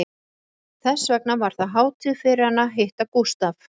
Þess vegna var það hátíð fyrir hana að hitta Gústaf